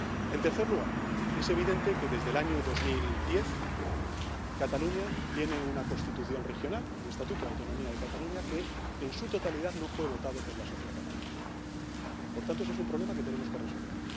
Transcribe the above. En tercer lugar, es evidente que desde el año 2010 Catalunya tiene una Constitución regional, un Estatuto de Autonomía de Cataluña, que en su totalidad no fue votado por la sociedad catalana. Por tanto, ese es un problema que tenemos que resolver.